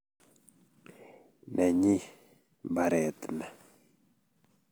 Nenyi mbaret ni